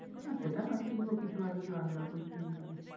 না সেটা নয় কিনবো কিছু হয়তো কি রান্নার বই কিনলাম।